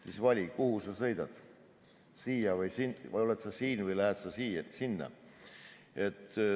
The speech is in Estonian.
Siis vali, kuhu sa sõidad, oled sa siin või lähed sa sinna.